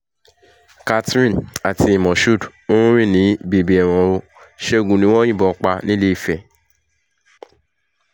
catherine àti moshood ń rìn ní bèbè ẹ̀wọ̀n o ṣẹ́gun ni wọ́n yìnbọn pa nìléèfẹ̀